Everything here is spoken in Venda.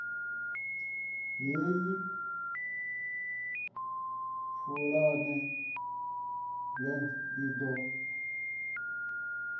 heyi pulane blueprint i do